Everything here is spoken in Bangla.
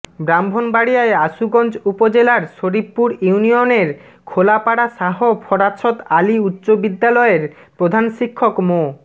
ব্রাহ্মণবাড়িয়ার আশুগঞ্জ উপজেলার শরীফপুর ইউনিয়নের খোলাপাড়া শাহ ফরাছত আলী উচ্চ বিদ্যালয়ের প্রধান শিক্ষক মো